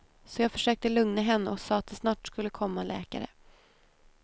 Så jag försökte lugna henne och sa att det snart skulle komma läkare.